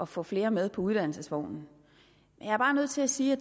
få flere med på uddannelsesvognen jeg er bare nødt til at sige at